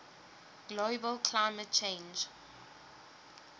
global climate change